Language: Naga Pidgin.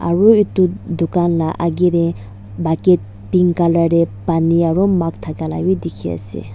aru etu dukaan ma agge teh bati pink colour teh pani ago makh thaka laga teh dekha ase.